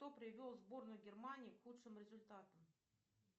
кто привел сборную германии к худшим результатам